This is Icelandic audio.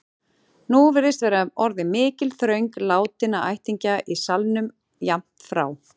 Nú virðist vera orðin mikil þröng látinna ættingja í salnum, jafnt frá